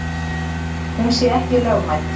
Hún sé ekki lögmæt.